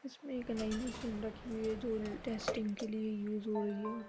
इसमें एक नई मशीन रखी है जो ल टेस्टिंग के लिए यूज हो रही है और --